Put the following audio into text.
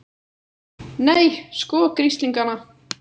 Nei, sko grislingana!